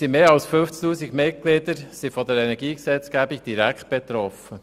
Unsere mehr als 50 000 Mitglieder sind von der Energiegesetzgebung direkt betroffen.